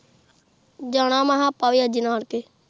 ਜਨਮੈ ਕਿਹਾ ਆਪ ਵੀ ਅੱਜ ਨਾਨਕੇ